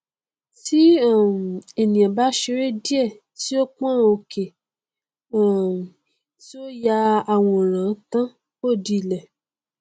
tí um ènìà bá ṣeré díè tí ó pọn òkè um tí ó ya àwòrán tán ó di ilé